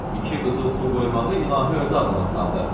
iki qızıl pul qoymağı ilahi özü ağlıma saldı.